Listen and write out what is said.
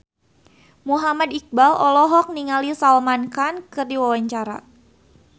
Muhammad Iqbal olohok ningali Salman Khan keur diwawancara